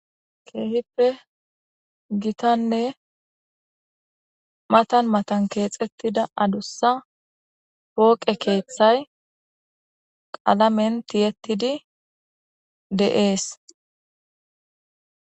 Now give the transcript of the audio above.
Keehippe gitanne matan matan keexettida adussa pooqe keeththay qalamen tiyettidi de'ees.